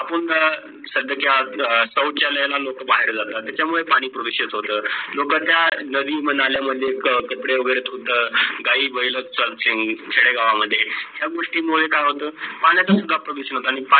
bathroom स्त्या शौचालय लोक बाहेर जातात, त्या मुडे पाणी प्रदूषित होत, तर लोकचा नदी नाल्या म्हणजे कपडे वगैरे धुतात, काही गाय वैल चालतात खेडे गावी मध्ये, या गोष्टी मुढे काय होत, पाणयतुन् फार प्रदूषित होत जातो